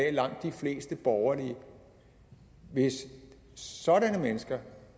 er langt de fleste borgerlige og hvis sådanne mennesker